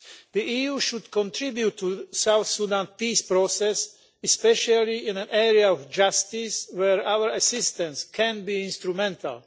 The EU should contribute to the South Sudan peace process, especially in the area of justice, where our assistance can be instrumental.